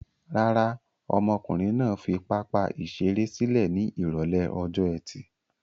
Rárá, ọmọkùnrin náà fi pápá-ìṣeré sílẹ̀ ní ìrọ́lẹ́ ọjọ́ ẹtì.